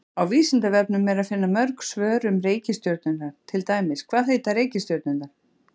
Á Vísindavefnum er að finna mörg svör um reikistjörnurnar, til dæmis: Hvað heita reikistjörnurnar?